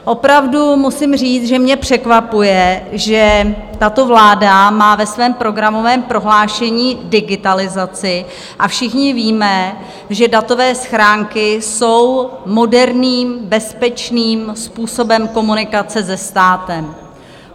Opravdu musím říct, že mě překvapuje, že tato vláda má ve svém programovém prohlášení digitalizaci, a všichni víme, že datové schránky jsou moderním, bezpečným způsobem komunikace se státem.